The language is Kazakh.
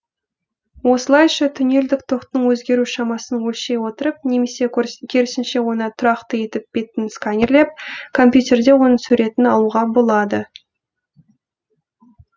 осылайша тунелдік тоқтың өзгеру шамасын өлшей отырып немесе керісінше оны тұрақты етіп беттің сканирлеп компьютерде оның суретін алуға болады